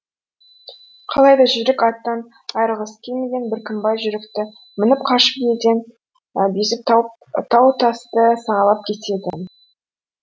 қалайда жүйрік аттан айырылғысы келмеген біркімбай жүйрікті мініп қашып елден безіп тау тасты сағалап кетеді